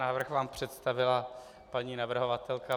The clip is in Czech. Návrh vám představila paní navrhovatelka.